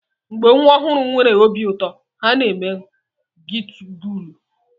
Mgbe nwa ọhụrụ nwere obi ụtọ, ha na-eme gigulu.